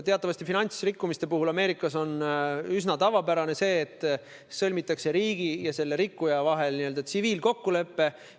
Teatavasti on finantsrikkumiste puhul Ameerikas üsna tavapärane, et riigi ja selle rikkuja vahel sõlmitakse tsiviilkokkulepe.